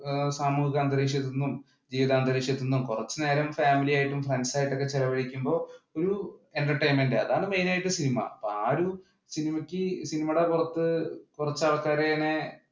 സാമൂഹിക അന്തരീക്ഷത്തിൽ നിന്നും ജീവിത അന്തരീക്ഷത്തിൽ നിന്നും കുറച്ചു നേരം ഫാമിലി ആയും ഫ്രെണ്ട്സ് ആയിട്ടൊക്കെ ചെലവഴിക്കുമ്പോൾ ഒരു entertainment അതാണ് മെയിൻ ആയിട്ട് സിനിമ. അപ്പൊ ആ ഒരു